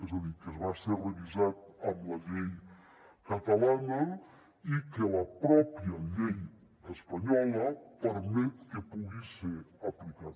és a dir que va ser revisat amb la llei catalana i que la pròpia llei espanyola permet que pugui ser aplicat